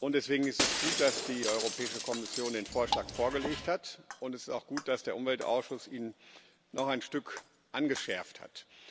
Deswegen ist es gut, dass die Europäische Kommission den Vorschlag vorgelegt hat, und es ist auch gut, dass der Umweltausschuss ihn noch ein Stück angeschärft hat.